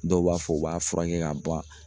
Dɔw b'a fɔ u b'a furakɛ ka ban